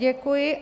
Děkuji.